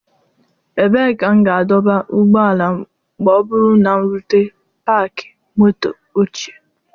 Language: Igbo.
Ebee ka m ga-adọba ụgbọala m ma ọ bụrụ na m rute Pakị Moto ochie?